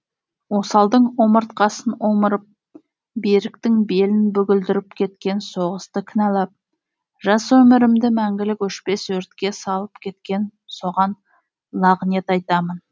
осалдың омыртқасын омырып беріктің белін бүгілдіріп кеткен соғысты кінәлап жас өмірімді мәңгілік өшпес өртке салып кеткен соған лағнет айтамын